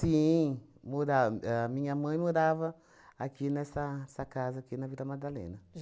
mora a minha mãe morava aqui nessa essa casa, aqui na Vila Madalena.